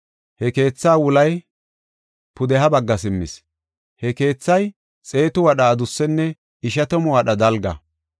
He keethaa wulay pudeha bagga simmis. Ha keethay xeetu wadha adussenne ishatamu wadha dalga.